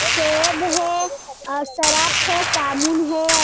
सेब हैऔर सरफ है और साबुन है।